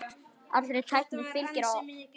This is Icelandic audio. Allri tækni fylgir áhætta.